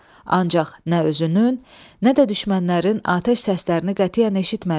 Ancaq nə özünün, nə də düşmənlərin atəş səslərini qətiyyən eşitmədi.